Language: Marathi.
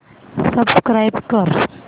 सबस्क्राईब कर